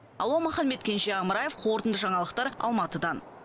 алуа маханбет кенже амраев қорытынды жаңалықтар алматыдан